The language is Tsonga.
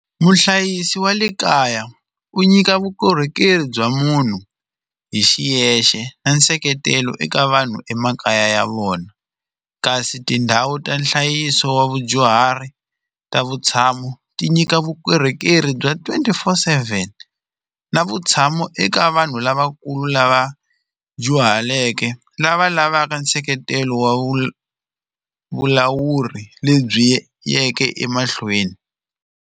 Muhlayisi wa le kaya u nyika vukorhokeri bya munhu hi xiyexe na nseketelo eka vanhu emakaya ya vona kasi tindhawu ta nhlayiso wa vadyuhari ta vutshamo ti nyika vukorhokeri bya twenty four seven na vutshamo eka vanhu lavakulu lava dyuhaleke lava lavaka nseketelo wa vu vulawuri lebyi tiyeke emahlweni,